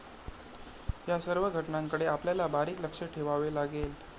या सर्व घटनांकडे आपल्याला बारीक लक्ष ठेवावं लागेल.